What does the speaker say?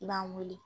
I b'an weele